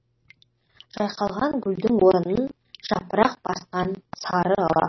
жайқалған гүлдің орынын жапырақ басқан сары ала